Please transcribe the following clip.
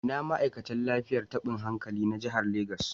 Ina ma'aikatan lafiyar tabin hankali na jihar Legas suke